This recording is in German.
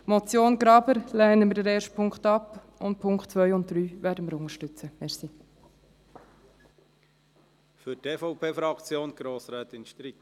Bei der Motion Graber lehnen wir den ersten Punkt ab und werden die Punkte 2 und 3 unterstützten.